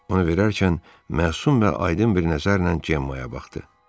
Onu verərkən məsum və aydın bir nəzərlə Cemma'ya baxdı.